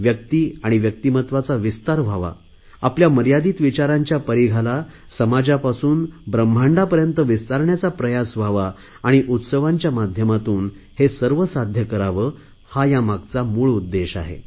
व्यक्ती आणि व्यक्तीमत्वाचा विस्तार व्हावा आपल्या मर्यादित विचारांच्या परिघाला समाजापासून ब्रम्हांडांपर्यंत विस्तारण्याचा प्रयास व्हावा आणि उत्सवाच्या माध्यमातून हे सर्व साध्य करावे हा या मागचा मूळ उद्देश आहे